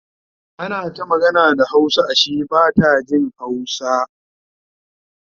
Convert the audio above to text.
ana ta magana da hausa Ashe Bata Jin hausa